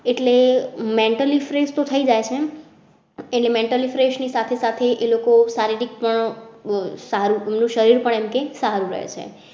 એટલે mentally fresh તો થઇ જ જાય એટલે mentally fresh ની સાથે સાથે એ લોકો શારીરિક પણ. આહ નું શરીર પણ સારું રહે છે